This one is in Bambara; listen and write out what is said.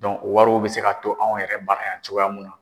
o wariw bɛ se ka to anw yɛrɛ bara yan cogoya min na.